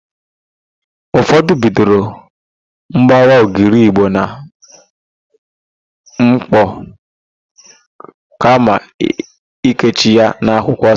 Ụfọdụ bidoro gbawa ogiri Igbo na ḿkpọ̀ kama ikechi ya n'akwụkwọ osisi.